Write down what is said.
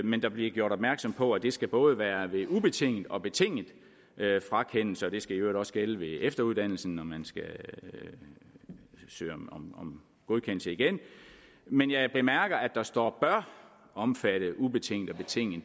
men der bliver gjort opmærksom på at det skal både være ved ubetinget og betinget frakendelse og det skal i øvrigt også gælde ved efteruddannelse når man skal søge om godkendelse igen men jeg bemærker at der står bør omfatte ubetinget og betinget